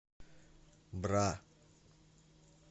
бра